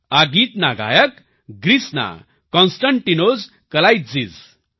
આ ગીતના ગાયક ગ્રીસના કોન્સ્ટાન્ટિનોસ કલાઇત્ઝિસ